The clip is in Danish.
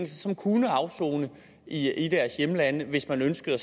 som kunne afsone i i deres hjemlande hvis man ønskede at